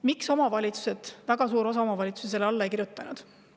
Miks ei kirjutanud väga suur osa omavalitsusi sellele alla?